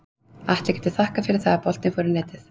Atli getur þakkað fyrir það að boltinn fór í netið.